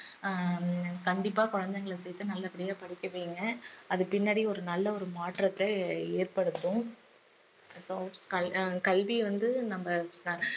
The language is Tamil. ஹம் கண்டிப்பா குழந்தைகள சேர்த்து நல்லபடியா படிக்க வையுங்க அது பின்னாடி ஒரு நல்ல ஒரு மாற்றத்தை ஏற்படுத்தும் இப்ப கல்~ அஹ் கல்வி வந்து நம்ம